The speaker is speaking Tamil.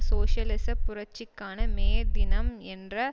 சோசியலிச புரட்சிக்கான மே தினம் என்ற